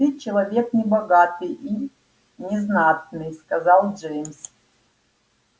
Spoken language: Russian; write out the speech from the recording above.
ты человек небогатый и незнатный сказал джеймс